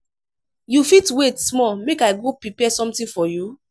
you fit wait small make i go prepare something for you?